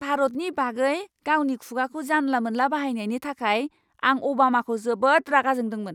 भारतनि बागै गावनि खुगाखौ जानला मोनला बाहायनायनि थाखाय आं अबामाखौ जोबोद रागा जोंदोंमोन!